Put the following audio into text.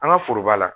An ka foroba la